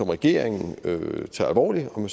regeringen tager alvorligt om